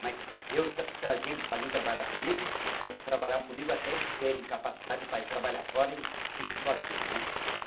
Mas eu ta trazia eles para mim trabalhar comigo, eles trabalhavam comigo até eles terem capacidade para ir trabalhar fora e seguir sua vida, né?